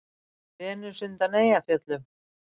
Venus undan Eyjafjöllum?